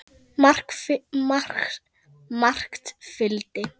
Margt fylgdi.